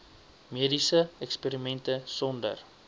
mediese eksperimente sonder